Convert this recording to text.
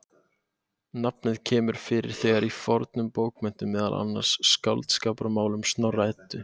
Nafnið kemur fyrir þegar í fornum bókmenntum, meðal annars í Skáldskaparmálum Snorra-Eddu.